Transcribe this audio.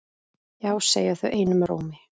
Já segja þau einum rómi.